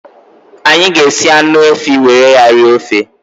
Anyị ga-esi anụ efi were ya rie ofe